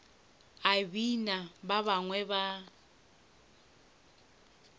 a bina ba bangwe ba